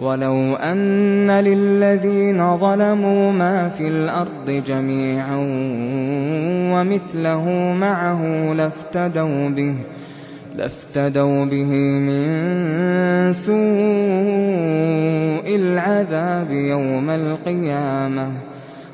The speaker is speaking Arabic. وَلَوْ أَنَّ لِلَّذِينَ ظَلَمُوا مَا فِي الْأَرْضِ جَمِيعًا وَمِثْلَهُ مَعَهُ لَافْتَدَوْا بِهِ مِن سُوءِ الْعَذَابِ يَوْمَ الْقِيَامَةِ ۚ